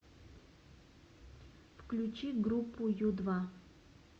включи группу ю два